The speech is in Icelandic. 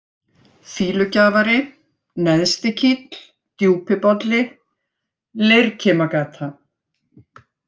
Fýlugjafari, Neðstikíll, Djúpibolli, Leirkimagata